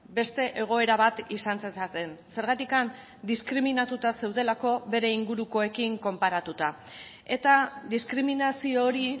beste egoera bat izan zezaten zergatik diskriminatuta zeudelako bere ingurukoekin konparatuta eta diskriminazio hori